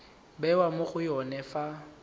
bewa mo go yone fa